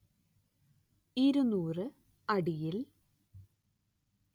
ഇരുനൂറ്‌ അടിയിൽ